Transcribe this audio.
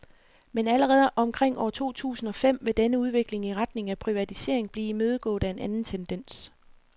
Men allerede omkring år to tusind og fem vil denne udvikling i retning af privatisering blive imødegået af en anden tendens.